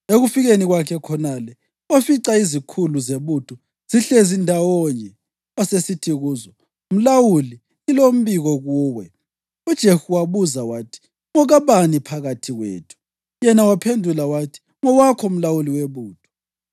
Ekufikeni kwakhe khonale wafica izikhulu zebutho zihlezi ndawonye, wasesithi kuzo, “Mlawuli, ngilombiko kuwe.” UJehu wabuza wathi, “Ngokabani phakathi kwethu?” Yena waphendula wathi, “Ngowakho mlawuli webutho.”